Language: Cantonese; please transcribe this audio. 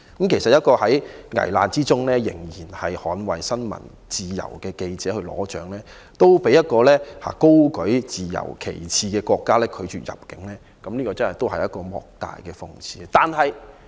其實，一個在危難之中仍然捍衞新聞自由的記者去領獎，都被一個高舉自由旗幟的國家拒絕入境，這是一個莫大的諷刺。